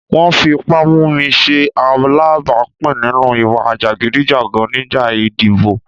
Wọ́n fi ipá mú mi ṣe alábàápín nínú ìwà jàgídíjàgan nígbà ìdìbò.